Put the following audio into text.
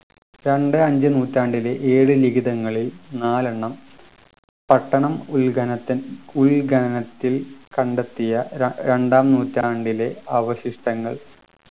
രണ്ട് അഞ്ചു നൂറ്റാണ്ടിലെ ഏഴ് ലിഖിതങ്ങളിൽ നാലെണ്ണം പട്ടണം ഉൽഘനത്തിൽ ഉൽ ഖനനത്തിൽ കണ്ടെത്തിയ ര രണ്ടാം നൂറ്റാണ്ടിലെ അവശിഷ്ടങ്ങൾ